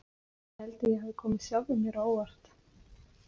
Ég held að ég hafi komið sjálfum mér á óvart.